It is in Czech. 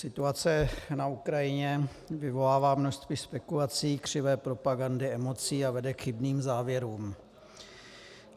Situace na Ukrajině vyvolává množství spekulací, křivé propagandy, emocí a vede k chybným závěrům.